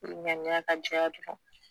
I ŋaniya ka jɛya dɔrɔn